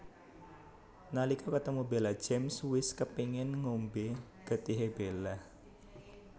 Nalika ketemu Bella James wis kepéngèn ngombé getihé Bella